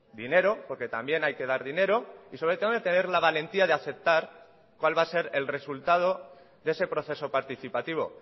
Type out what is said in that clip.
dinero porque también hay que dar dinero y sobre todo tener la valentía de aceptar cuál va a ser el resultado de ese proceso participativo